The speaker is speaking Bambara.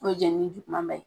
N'o ye jenini juguman ba ye.